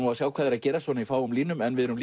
að sjá hvað er að gerast í fáum línum við erum